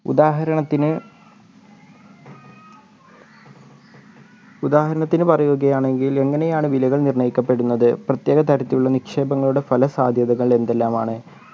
ഉദാഹരണത്തിന് ഉദാഹരണത്തിന് പറയുകയാണെങ്കിൽ എങ്ങനെയാണ് വിലകൾ നിർണയിക്കപ്പെടുന്നത് പ്രത്യേകതരത്തിലുള്ള നിക്ഷേപങ്ങളുടെ ഫല സാദ്ധ്യതകൾ എന്തെല്ലാമാണ്